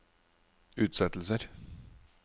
utsettelser